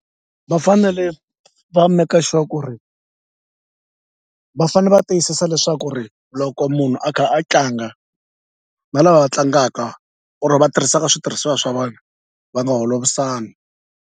Va fanele va make sure ku ri va fane va tiyisisa leswaku ri loko munhu a kha a tlanga na lava va tlangaka or va tirhisaka switirhisiwa swa vanhu va nga holovisani.